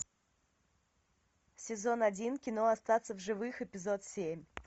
сезон один кино остаться в живых эпизод семь